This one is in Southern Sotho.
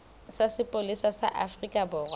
sa sepolesa sa afrika borwa